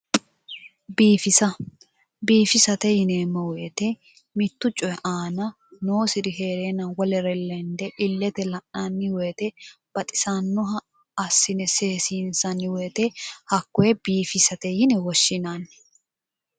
Biifisa, biifisate yineemmo woyite mittu coyi aana noosiri heereenna wolere lende illete la'nanni woyite baxisannoha assine seesiinsanni wote hakkoye biifisate yine woshshinanni.